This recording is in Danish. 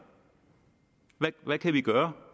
hvad kan vi gøre